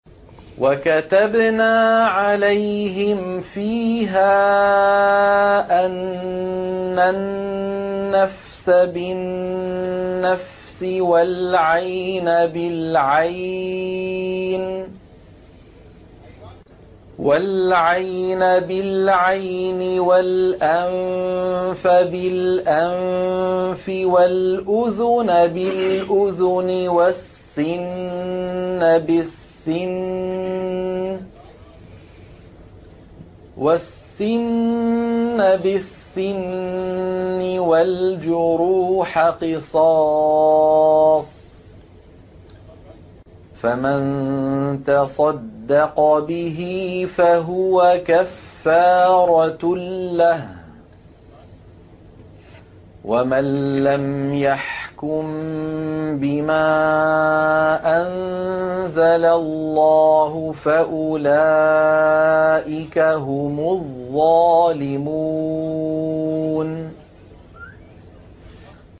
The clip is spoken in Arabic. وَكَتَبْنَا عَلَيْهِمْ فِيهَا أَنَّ النَّفْسَ بِالنَّفْسِ وَالْعَيْنَ بِالْعَيْنِ وَالْأَنفَ بِالْأَنفِ وَالْأُذُنَ بِالْأُذُنِ وَالسِّنَّ بِالسِّنِّ وَالْجُرُوحَ قِصَاصٌ ۚ فَمَن تَصَدَّقَ بِهِ فَهُوَ كَفَّارَةٌ لَّهُ ۚ وَمَن لَّمْ يَحْكُم بِمَا أَنزَلَ اللَّهُ فَأُولَٰئِكَ هُمُ الظَّالِمُونَ